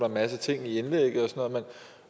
en masse ting i indlægget